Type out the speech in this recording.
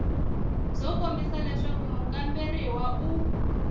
byo kombisa leswaku mukamberiwa u